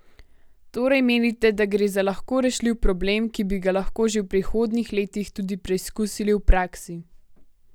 Torej menite, da gre za lahko rešljiv problem, ki bi ga lahko že v prihodnjih letih tudi preizkusili v praksi?